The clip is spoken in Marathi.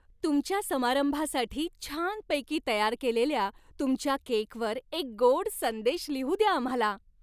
तुमच्या समारंभासाठी छानपैकी तयार केलेल्या तुमच्या केकवर एक गोड संदेश लिहू द्या आम्हाला.